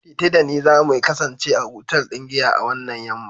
tetee da ni za my kasance a otal ɗin giya a wannan yam'ma